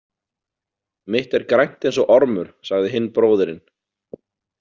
Mitt er grænt eins og ormur, sagði hinn bróðirinn.